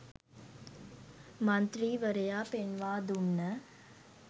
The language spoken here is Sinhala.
මන්ත්‍රීවරයා පෙන්වා දුන්න